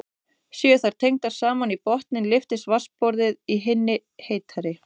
Séu þær tengdar saman í botninn lyftist vatnsborðið í hinni heitari.